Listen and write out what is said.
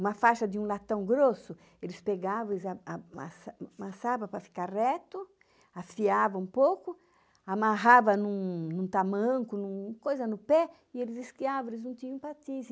uma faixa de um latão grosso, eles pegavam e eles a amassa amassava para ficar reto, afiava um pouco, amarrava em um em um tamanco, em um coisa no pé, e eles esquiava, eles não tinham patins.